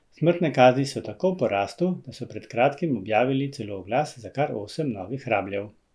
Smrtne kazni so tako v porastu, da so pred kratkim objavili celo oglas za kar osem novih rabljev.